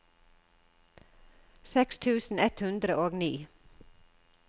seks tusen ett hundre og ni